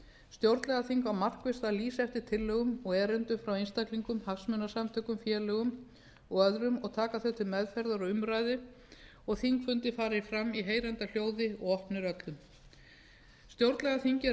á markvisst að lýsa eftir tillögum og erindum frá einstaklingum hagsmunasamtökum félögum og öðrum og taka þau til meðferðar og umræðu og þingfundir fara fram í heyranda hljóði og opnir öllum stjórnlagaþingi er